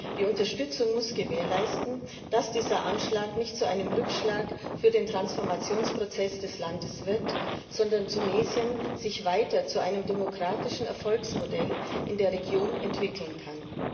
Die Unterstützung muss gewährleisten, dass dieser Anschlag nicht zu einem Rückschlag für den Transformationsprozess des Landes wird, sondern Tunesien sich weiter zu einem demokratischen Erfolgsmodell in der Region entwickeln kann.